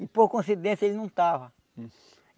E por coincidência ele não estava.